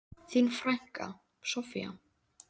Þín frænka, Soffía.